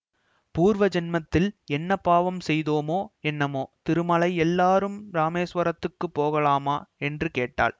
பூர்வ ஜன்மத்தில் என்ன பாவம் செய்தோமோ என்னமோ திருமலை எல்லோரும் இராமேசுவரத்துக்கு போகலாமா என்று கேட்டாள்